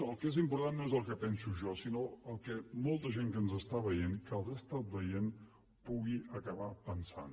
el que és important no és el que penso jo sinó el que molta gent que ens està veient que els ha estat veient pugui acabar pensant